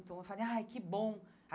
Então eu falei, ai, que bom.